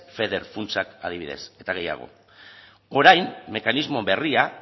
feder funtsak adibidez eta gehiago orain mekanismo berria